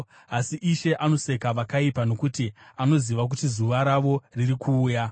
Asi Ishe anoseka vakaipa nokuti anoziva kuti zuva ravo riri kuuya.